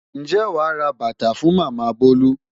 Ǹjẹ́ wàá ra bàtà fún Màmá Bolu?